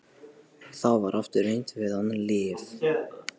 Og þá var aftur reynt við annað lyf.